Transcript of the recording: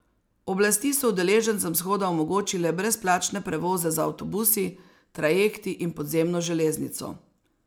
Oblasti so udeležencem shoda omogočile brezplačne prevoze z avtobusi, trajekti in podzemno železnico.